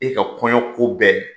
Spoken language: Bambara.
E ka kɔɲɔ ko bɛɛ